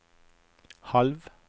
halv